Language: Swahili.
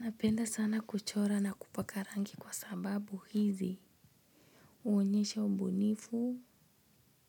Napenda sana kuchora na kupaka rangi kwa sababu hizi huonyesha ubunifu